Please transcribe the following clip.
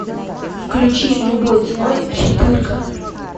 включи любой ценой четырка